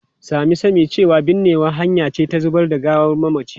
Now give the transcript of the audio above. Sami sani cewa binnewa hanya ce ta zubar da gawar mamaci.